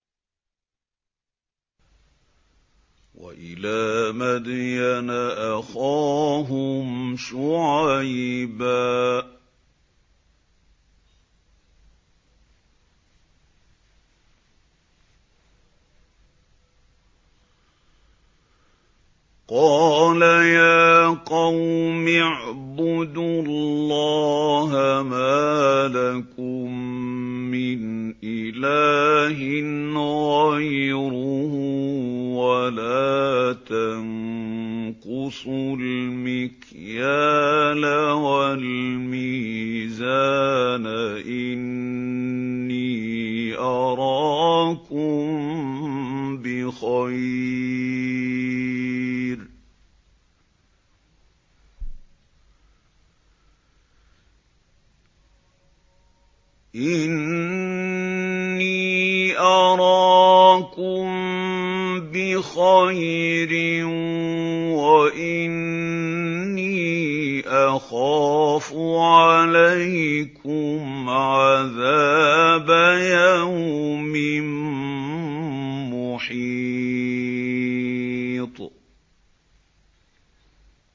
۞ وَإِلَىٰ مَدْيَنَ أَخَاهُمْ شُعَيْبًا ۚ قَالَ يَا قَوْمِ اعْبُدُوا اللَّهَ مَا لَكُم مِّنْ إِلَٰهٍ غَيْرُهُ ۖ وَلَا تَنقُصُوا الْمِكْيَالَ وَالْمِيزَانَ ۚ إِنِّي أَرَاكُم بِخَيْرٍ وَإِنِّي أَخَافُ عَلَيْكُمْ عَذَابَ يَوْمٍ مُّحِيطٍ